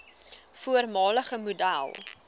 voormalige model